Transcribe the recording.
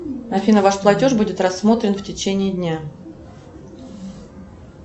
афина ваш платеж будет рассмотрен в течение дня